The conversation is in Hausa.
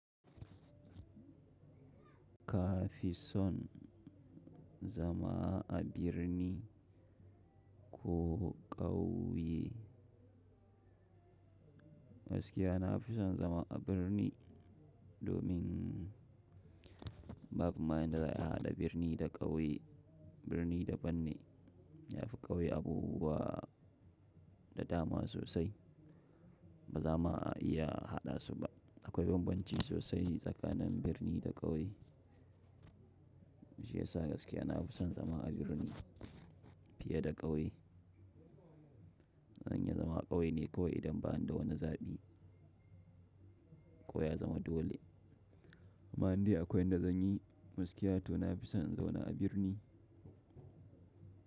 Kafi son zama a birni ko ƙauye? Gaskiya na fi son zama a birni domin, babu ma yan da za iya haɗa birni da ƙauye. Birni daɓan ne, yafi ƙauye abubuwa da dama sosai. Ba za mu ma iya haɗa su ba. Akwai bambanci sosai tsakanin birni da ƙauye. Shi ya sa gaskiya, na fi son zama a birni fiye da ƙauye. In ya zama a ƙauye ne kawai idan ba'an da wani zaɓi ko ya zama dole. Amma inda akwai inda zan yi, gaskiya to na fi son in zauna a birni.